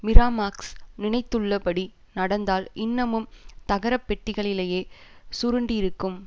Miramax நினைத்துள்ளபடி நடந்தால் இன்னமும் தகரப் பெட்டிகளிலேயே சுருண்டிருக்கும்